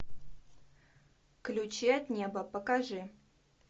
ключи от неба покажи